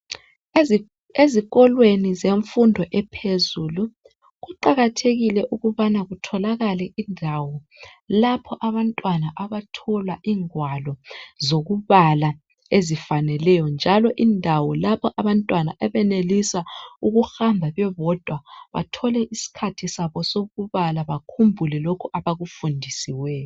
ezikolweni zemfundo ephezulu kuqakathekile ukubana kutholakale indawo lapha abantwana abathola ingwalo zokubala ezifaneleyo njalo indawo lapha abantwana abenelisa ukuhamba bebodwa bethole isikhathi sabo sokubala bakhumbule lokho abakufundisiweyo